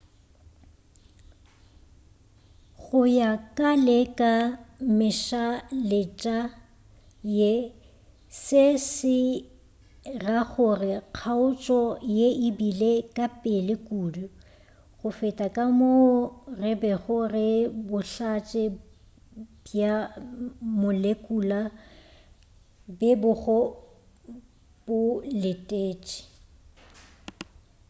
go ya ka le ka mešaletša ye se se ra gore kgaotšo ye e bile ka pele kudu go feta ka moo go bego bohlatse bja molekula bo bego bo letetše